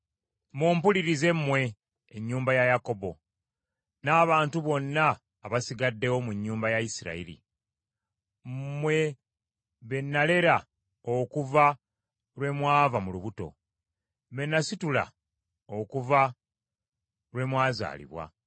“Mumpulire mmwe, ennyumba ya Yakobo n’abantu bonna abasigaddewo mu nnyumba ya Isirayiri. Mmwe be nnalera okuva lwe mwava mu lubuto, be nasitula okuva lwe mwazaalibwa.